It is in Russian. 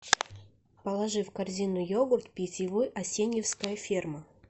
положи в корзину йогурт питьевой асеньевская ферма